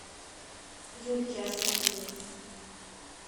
юльки осокиной